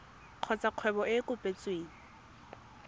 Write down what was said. kgotsa kgwebo e e kopetsweng